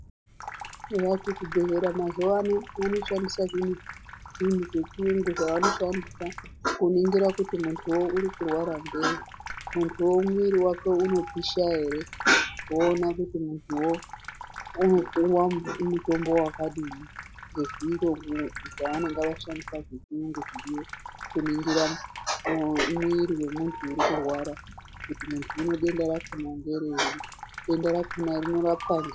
Eya kuzvibhedhlera mazuwano vanoshandisa zvinhu zvechiyungu zvavanoshandisa kuningira kuti muntuwo uri kurwara ngei, munhuwo mwiri wake unopisha voona kuti muntuwo unopuwa mutombo wakadii nezviro zvavanenga vashandisa zvechiyungu kuningira mwiri wemunhu uri kurwara kuti muntuwo denda rakona ngerei denda rakona rinorapwa ne..